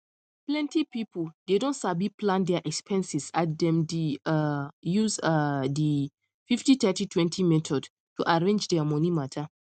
plenty people dey don sabi plan dia expenses as dem di um use um di 503020 method to arrange dia money mata